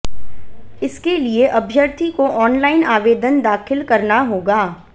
इसके लिए अभ्यर्थी को ऑनलाईन आवेदन दाखिल करना होगा